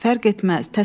Fərq etməz.